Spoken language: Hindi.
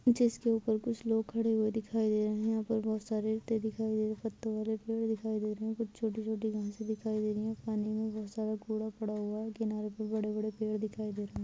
जिसके उपर कुछलोग खड़े दिखाई दे रहे है उपर बहुत सारे पत्ते दिखाई दे रहे है पत्तो वाले फूल दिखाई दे रहे हैं कुछ छोटी-छोटी घास दिखाई दे रही है पानी मे बहुत सर कुड़े पड़े हुएं है किनारे पे बड़ी बड़ी पेड़ दिखाई दे रहे है।